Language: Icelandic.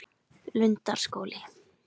Lundarskóli